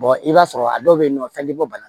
i b'a sɔrɔ a dɔw bɛ yen nɔ fɛn tɛ bɔ bana